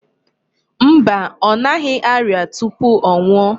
Mba. Ọ naghị arịa tupu ọ nwụọ.